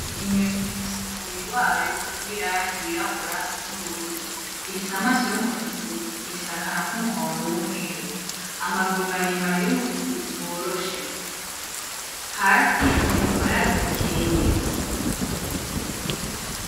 Inyoni ifise umubiri wayo w'irangi wirabura n'ubururu, ifise amaso y'umutuku, ifise akanwa ku muhondo w'umweru, amaguru maremare y'umutuku woroshe, hasi iri mu bwatsi bukeye.